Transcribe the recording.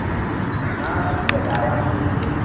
না ঠিক আছে আরে আমি এমনি